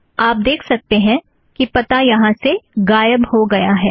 आप देख सकते हैं कि पता यहाँ से गायब हो गया है